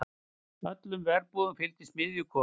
Öllum verbúðum fylgdi smiðjukofi.